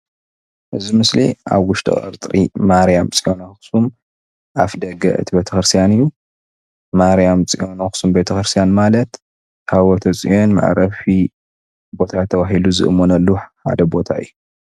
እዚ ምስሊ ኣብ ውሽጢ ቀፅሪ ማርያም ፆዮን ኣክሱም አፍ ደገ ቤተ ክርስትያን ማለት ታወተ ፆዮን ምዕረፊ ተባህሉ ዝእመነሉ ሓደ ቦታ እዩ።